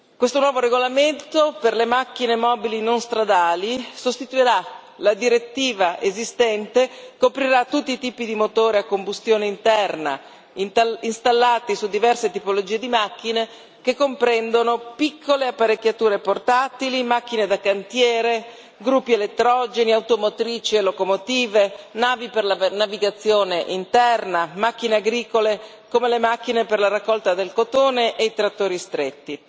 Questo nuovo regolamento per le macchine mobili non stradali sostituirà la direttiva esistente, coprirà tutti i tipi di motore a combustione interna installati su diverse tipologie di macchine, che comprendono piccole apparecchiature portatili, macchine da cantiere, gruppi elettrogeni, automotrici e locomotive, navi per la per navigazione interna, macchine agricole, come le macchine per la raccolta del cotone, e i trattori stretti.